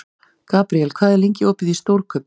Gabriel, hvað er lengi opið í Stórkaup?